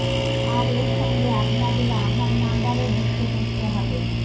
আর এর সঙ্গে আপনাদের আধার নাম্বারও যুক্ত করতে হবে